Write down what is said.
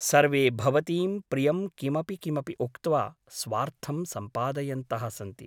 सर्वे भवतीं प्रियं किमपि किमपि उक्त्वा स्वार्थं सम्पादयन्तः सन्ति ।